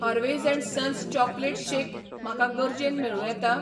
Harveys and sons chocolate shake म्हाका गरजेन मेळूं येता?